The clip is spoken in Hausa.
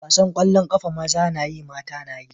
Wasan kwallon kafa maza da Mata nayi.